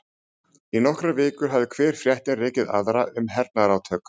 Í nokkrar vikur hafði hver fréttin rekið aðra um hernaðarátök